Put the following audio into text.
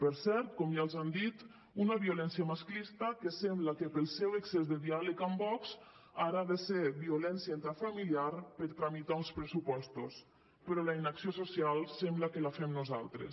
per cert com ja els han dit una violència masclista que sembla que pel seu excés de diàleg amb vox ara ha de ser violència intrafamiliar per tramitar uns pressupostos però la inacció social sembla que la fem nosaltres